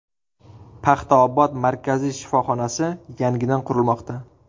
Paxtaobod markaziy shifoxonasi yangidan qurilmoqda.